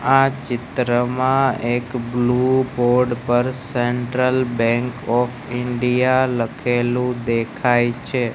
આ ચિત્રમાં એક બ્લુ બોર્ડ પર સેન્ટ્રલ બેન્ક ઓફ ઇન્ડિયા લખેલું દેખાય છે.